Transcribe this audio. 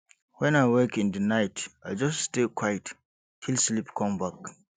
when i wake in the night i just stay quiet till sleep come back